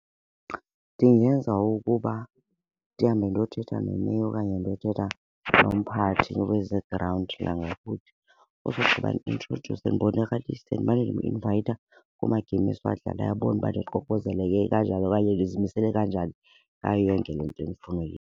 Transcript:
Ndingenza ukuba ndihambe ndiyothetha ne-mayor okanye ndiyothetha nomphathi weze-ground yangakuthi. Usogqiba ndi-introdyuse, ndibonakalise, ndimane ndim-invayitha kumagemu esiwadlalayo abone uba ndiququzeleke kanjani okanye ndizimisele kanjani ngayo yonke le nto endifuna .